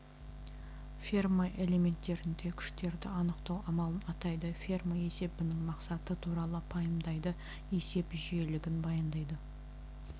ферма элементтерінде күштерді анықтау амалын атайды ферма есебінің мақсаты туралы пайымдайды есеп жүйелілігін баяндайды